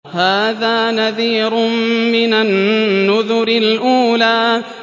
هَٰذَا نَذِيرٌ مِّنَ النُّذُرِ الْأُولَىٰ